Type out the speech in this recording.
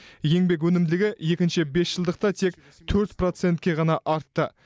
еңбек өнімділігі екінші бесжылдықта тек төрт процентке ғана артты